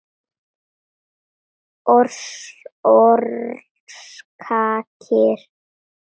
Orsakir eru ekki kunnar.